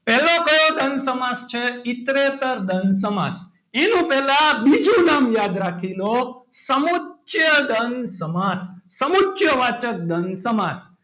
પહેલો તો દ્વંદ સમાસ છે. ઈતરેતર દ્વંદ સમાસ એનું પહેલા બીજું નામ યાદ રાખી લો. સમુચ્ચય દ્વંદ સમાસ સમુચ્ય વાચક દ્વંદ સમાસ.